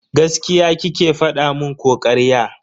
Gaskiya kike fada mun ko karya?